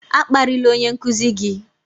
A kparịla onye nkuzi gị!